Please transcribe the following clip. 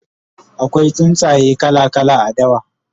akwai tsuntsaye kala kala a dawa